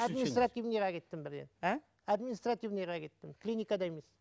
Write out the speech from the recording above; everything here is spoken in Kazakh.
административныйға кеттім бірден а административныйға кеттім клиникада емес